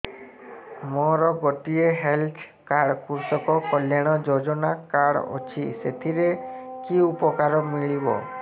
ମୋର ଗୋଟିଏ health card କୃଷକ କଲ୍ୟାଣ ଯୋଜନା କାର୍ଡ ଅଛି ସାଥିରେ କି ଉପକାର ମିଳିବ